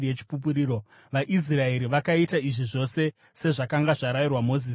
VaIsraeri vakaita izvi zvose sezvakanga zvarayirwa Mozisi naJehovha.